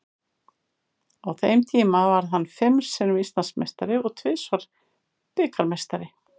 Á þeim tíma varð hann fimm sinnum Íslandsmeistari og tvisvar bikarmeistari.